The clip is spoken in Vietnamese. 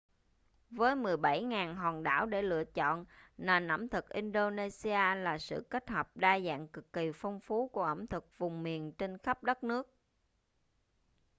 với 17.000 hòn đảo để lựa chọn nền ẩm thực indonesia là sự kết hợp đa dạng cực kỳ phong phú của ẩm thực vùng miền trên khắp đất nước